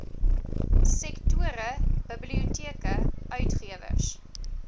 sektore biblioteke uitgewers